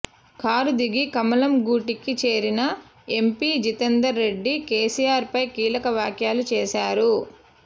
car దిగి కమలం గూటికి చేరిన ఎంపీ జితేందర్ రెడ్డి కేసీఆర్ పై కీలక వ్యాఖ్యలు చేశారు